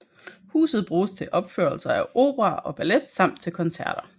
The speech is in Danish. Huset bruges til opførelser af opera og ballet samt til koncerter